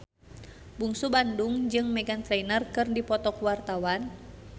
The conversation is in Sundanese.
Bungsu Bandung jeung Meghan Trainor keur dipoto ku wartawan